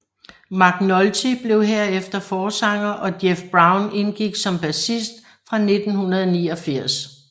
McNulty blev herefter forsanger og Jeff Brown indgik som bassist fra 1989